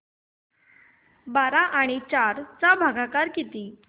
बारा आणि चार चा भागाकर किती